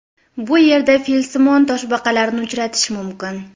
Bu yerda filsimon toshbaqalarni uchratish mumkin.